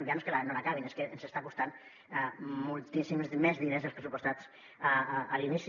ja no és que no l’acabin és que ens està costant moltíssims més diners dels pressupostats a l’inici